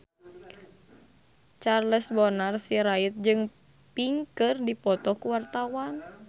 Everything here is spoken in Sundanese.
Charles Bonar Sirait jeung Pink keur dipoto ku wartawan